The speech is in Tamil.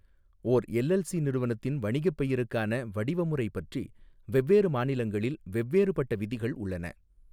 ஓர் எல்எல்சி நிறுவனத்தின் வணிகப் பெயருக்கான வடிவமுறை பற்றி வெவ்வேறு மாநிலங்களில் வெவ்வேறுபட்ட விதிகள் உள்ளன.